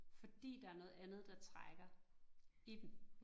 Fordi der noget andet, der trækker i dem